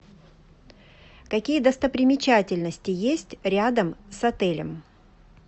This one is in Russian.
какие достопримечательности есть рядом с отелем